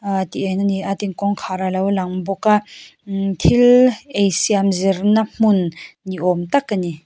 ahh tih en a ni a tin kawngkhar a lo lang bawk a thil ei siam zir na hmun ni awm tak a ni.